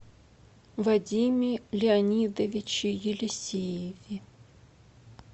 вадиме леонидовиче елисееве